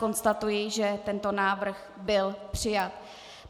Konstatuji, že tento návrh byl přijat.